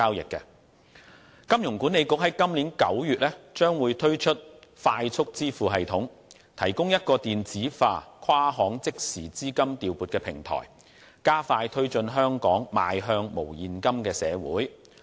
香港金融管理局在今年9月將會推出"快速支付系統"，提供一個電子化跨行即時資金調撥平台，加快推進香港邁向無現金的社會。